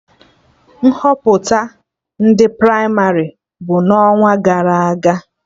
Nhọpụta ndị pramarị bụ n'ọnwagara aga